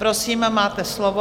Prosím, máte slovo.